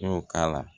N y'o k'a la